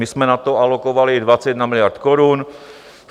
My jsme na to alokovali 21 miliard korun.